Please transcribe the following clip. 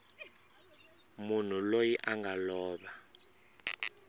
munhu loyi a nga lova